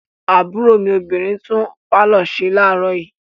Àbúrò mi obìnrin tún pálọ̀ ṣe láàárọ̀ yìí.